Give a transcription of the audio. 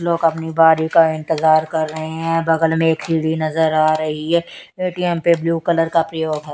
लोग अपनी बारी का इंतजार कर रहे हैं बगल में एक सीढ़ी नजर आ रही ए_टी_एम पे ब्ल्यू कलर का प्रयोग हैं।